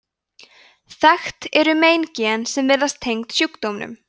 þekkt eru meingen sem virðast tengd sjúkdómnum